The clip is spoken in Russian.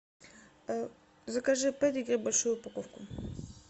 закажи педигри большую упаковку